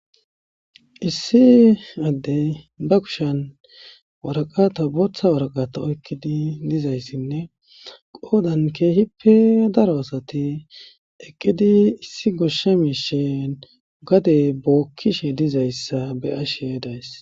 Issi Adey ba kushiyan waraqata bootha waraqata oykidi dizaysinne qoodani keehippe daro asati eqidi issi goshe mishey gade bookishe dizaysa be'ishe daysi.